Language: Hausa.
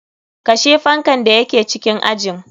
Kashe fankan da yake cikin ajin.